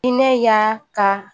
I ne y'a ka